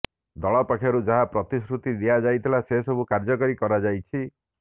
ଦଳ ପକ୍ଷରୁ ଯାହା ପ୍ରତିଶ୍ରୁତି ଦିଆଯାଇଥିଲା ସେସବୁକୁ କାର୍ଯ୍ୟକାରୀ କରାଯାଇଛି